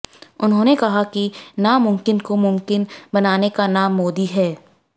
उन्होंने कहा कि नामुमकिन को मुमकिन बनाने का नाम मोदी है